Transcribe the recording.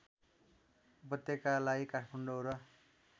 उपत्यकालाई काठमाडौँ र